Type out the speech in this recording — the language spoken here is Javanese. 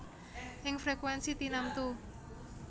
Ing frekuènsi tinamtu